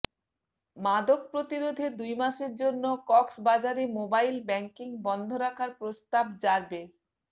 মাদক প্রতিরোধে দুই মাসের জন্য কক্সবাজারে মোবাইল ব্যাংকিং বন্ধ রাখার প্রস্তাব র্যাবের